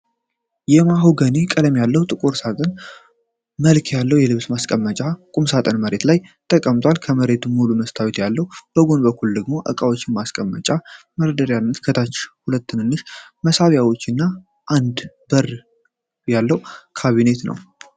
የማሆጋኒ ቀለም ያለው ቁም ሳጥን መልክ ያለው የልብስ ማስዋቢያ ቁም ሳጥን መሬት ላይ ተቀምጧል። ከፊት ሙሉ መስታወት ያለው፣ በጎን በኩል ደግሞ ዕቃዎችን ማስቀመጫ መደርደሪያዎችና ከታች ሁለት ትናንሽ መሳቢያዎች እና አንድ በር ያለው ካቢኔት አለው።